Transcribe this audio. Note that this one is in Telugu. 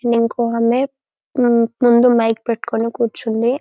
అండ్ ఇంకొక ఆమె ముందు మైక్ పెట్టుకుని కూర్చుంది.